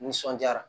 Nisɔndiyara